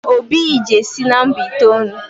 Obi yi jesi nomba itoolu